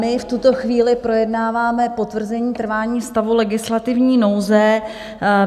My v tuto chvíli projednáváme potvrzení trvání stavu legislativní nouze.